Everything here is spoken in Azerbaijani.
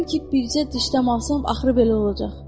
Bildim ki, bircə dişdə malsam axırı belə olacaq.